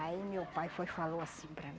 Aí meu pai falou assim para mim.